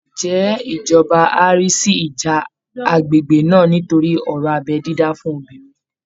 Ǹjẹ́ ìjọba á rí sí ìjà agbègbè náà nítorí ọ̀rọ̀ abẹ́ dídá fún obìnrin?